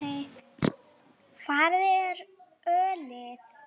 Hvar er ölið?